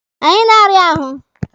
Anyị na-arịa ahụ.